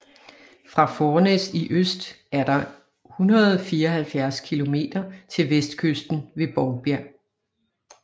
Fra Fornæs i øst er der 174 kilometer til vestkysten ved Bovbjerg